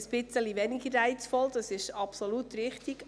Das ist weniger reizvoll, das ist richtig.